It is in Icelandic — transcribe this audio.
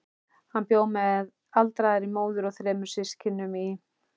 Hann bjó með aldraðri móður og þremur systkinum í